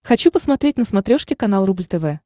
хочу посмотреть на смотрешке канал рубль тв